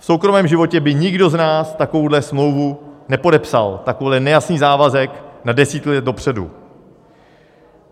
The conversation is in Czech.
V soukromém životě by nikdo z nás takovouhle smlouvu nepodepsal, takový nejasný závazek na desítky let dopředu.